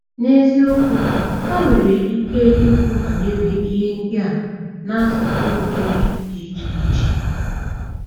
N’eziokwu, ha nwere ike ikwu banyere ihe ndị a n’asụsụ iri dị iche iche.